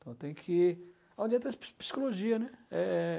Então tem que ir... Onde entra a psi psicologia, né? É...